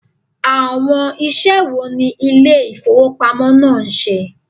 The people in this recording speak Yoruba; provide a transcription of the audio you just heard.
Awon ise wo ni ile ifowopamo naa n se?